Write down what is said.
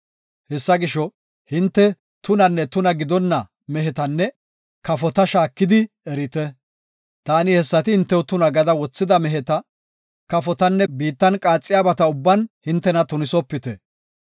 “Hessa gisho, hinte tunanne tuna gidonna mehetanne kafota shaakidi erite. Taani hessati hintew tuna gada wothida meheta, kafotanne biittan qaaxiyabata ubban hintena tunisopite.